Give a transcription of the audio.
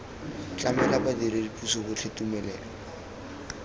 tlamela badiredi puso botlhe tumelelo